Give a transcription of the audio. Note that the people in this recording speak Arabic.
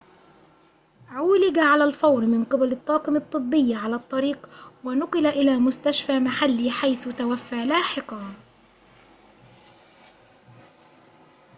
عولج على الفور من قبل الطاقم الطبي على الطريق ونُقل إلى مستشفى محلي حيث توفي لاحقاً